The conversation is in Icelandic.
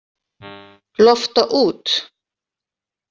Lofta út.